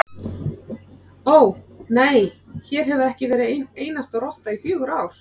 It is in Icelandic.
Ó, nei, hér hefur ekki verið ein einasta rotta í fjögur ár